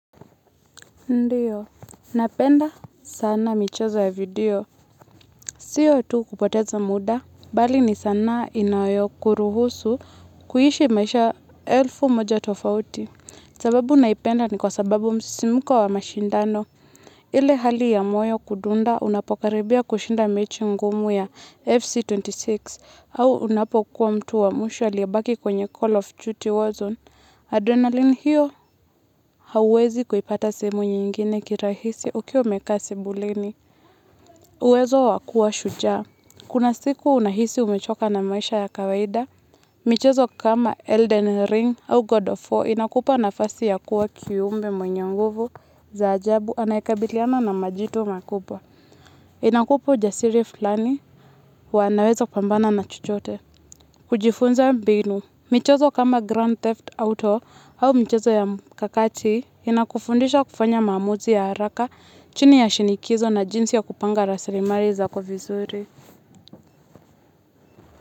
Ndio napenda sana michezo ya video. Siyo tu kupoteza muda, bali ni sanaa inayo kuruhusu kuhishi maisha elfu moja tofauti. Sababu naipenda ni kwa sababu msisimko wa mashindano. Ile hali ya moyo kudunda unapokaribia kushinda mechi ngumu ya FC26. Au unapokuwa mtu wa mwisho alibaki kwenye call of duty warzone. Adrenali hiyo hauwezi kuipata sehemu nyingine kirahisi ukiwa umekaa sebuleni uwezo wa kuwa shujaa. Kuna siku unahisi umechoka na maisha ya kawaida. Michezo kama Elden Ring au God of War inakupa na fasi ya kuwa kiumbe mwenye nguvu za ajabu anayekabiliana na majitu makubwa. Inakupa ujasiri fulani wa nawezo kupambana na chochote. Kujifunza mbinu. Michezo kama Grand Theft Auto au michezo ya mkakati. Inakufundisha kufanya mamuzi ya haraka chini ya shinikizo na jinsi ya kupanga rasarimari za kovizuri.